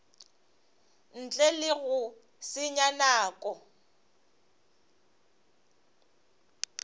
ntle le go senya nako